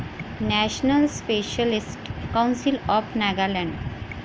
national specialist council of Nagaland